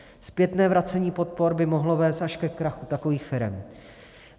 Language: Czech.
Zpětné vracení podpor by mohlo vést až ke krachu takových firem.